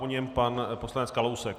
Po něm pan poslanec Kalousek.